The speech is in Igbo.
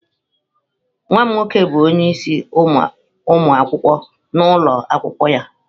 Nwa m nwoke bụ onye isi ụmụ akwụkwọ n'ụlọ akwụkwọ ya.